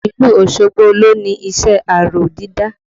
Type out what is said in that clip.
Ìlú Osogbo lo ni iṣẹ́ aró dídá